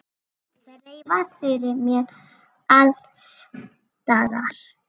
Þreifað fyrir mér alls staðar.